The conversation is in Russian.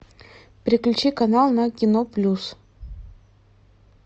переключи канал на кино плюс